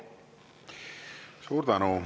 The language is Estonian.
Suur tänu.